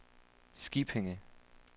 Skippinge